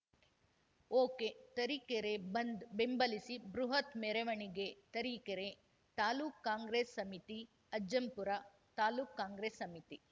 ಒಕೆತರೀಕೆರೆ ಬಂದ್‌ ಬೆಂಬಲಿಸಿ ಬೃಹತ್‌ ಮೆರವಣಿಗೆ ತರೀಕೆರೆ ತಾಲೂಕ್ ಕಾಂಗ್ರೆಸ್‌ ಸಮಿತಿ ಅಜ್ಜಂಪುರ ತಾಲೂಕ್ ಕಾಂಗ್ರೆಸ್‌ ಸಮಿತಿ